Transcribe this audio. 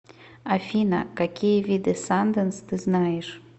афина какие виды санденс ты знаешь